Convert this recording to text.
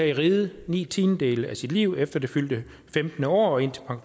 i riget ni tiendedele af sit liv efter det fyldte femtende år og indtil